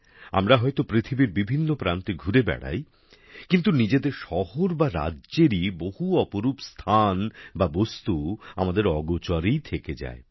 আমরা হয়তো পৃথিবীর বিভিন্ন প্রান্তে ঘুরে বেড়াই কিন্তু নিজেদের শহর বা রাজ্যেরই বহু অপরূপ স্থান বা বস্তু আমাদের অগোচরেই থেকে যায়